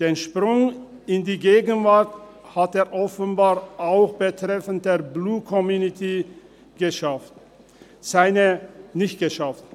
Den Sprung in die Gegenwart hat er offenbar auch betreffend die Blue Community nicht geschafft.